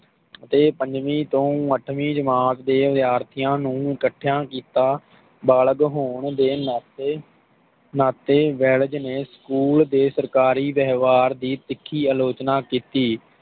ਤੇ ਪੰਜਵੀ ਤੋਂ ਅੱਠਵੀ ਜਮਾਤ ਦੇ ਵਿਦਿਆਰਥੀਆਂ ਨੂੰ ਇਕੱਠਿਆਂ ਕੀਤਾ ਬਾਲਗ ਹੋਣ ਦੇ ਨਾਤੇ ਨਾਤੇ ਵੈਲਜ਼ ਨੇ ਸਕੂਲ ਦੇ ਸਰਕਾਰੀ ਵੇਹਵਾਰ ਦੀ ਤਿੱਖੀ ਆਲੋਚਨਾ ਕੀਤੀ